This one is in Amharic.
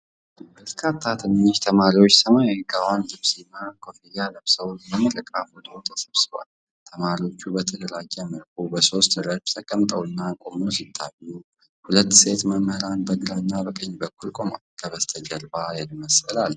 በርካታ ትንንሽ ተማሪዎች ሰማያዊ ጋወን ልብስና ኮፍያ ለብሰው ለምረቃ ፎቶ ተሰብስበዋል። ተማሪዎቹ በተደራጀ መልኩ በሶስት ረድፍ ተቀምጠውና ቆመው ሲታዩ፣ ሁለት ሴት መምህራን በግራና በቀኝ በኩል ቆመዋል። ከበስተጀርባ የድመት ስዕል አለ።